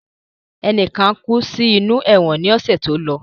Enikan kú sí inú ẹ̀wọ̀n ni ọ̀sẹ̀ tó lọ